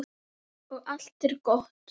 Og allt er gott.